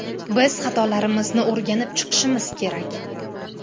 Biz xatolarimizni o‘rganib chiqishimiz kerak.